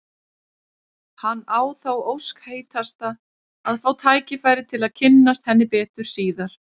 Hann á þá ósk heitasta að fá tækifæri til að kynnast henni betur síðar.